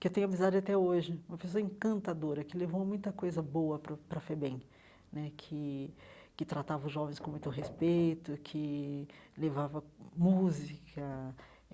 que tenho amizade até hoje, uma pessoa encantadora, que levou muita coisa boa para para FEBEM né, que que tratava os jovens com muito respeito, que levava música.